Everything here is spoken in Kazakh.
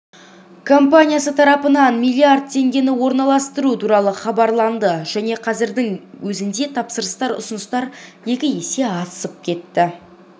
компаниясы тарапынан миллиард теңгені орналастыру туралы хабарланды және қазірдің өзінде тапсырыстар ұсыныстан екі есе асып кетті